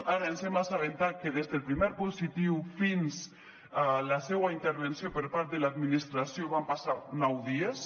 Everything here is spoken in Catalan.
ara ens hem assabentat que des del primer positiu fins a la seua intervenció per part de l’administració van passar nou dies